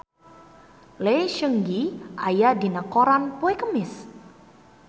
Lee Seung Gi aya dina koran poe Kemis